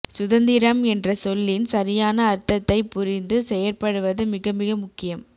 சுதந்திரம் என்ற சொல்லின் சரியான அர்தத்தை புரிந்து செயற்படுவது மிக மிக முக்கியம்